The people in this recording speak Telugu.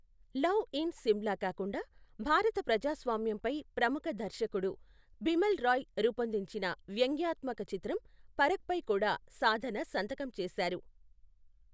లవ్ ఇన్ సిమ్లా కాకుండా, భారత ప్రజాస్వామ్యంపై ప్రముఖ దర్శకుడు బిమల్ రాయ్ రూపొందించిన వ్యంగ్యాత్మక చిత్రం పరఖ్ పై కూడా సాధన సంతకం చేశారు.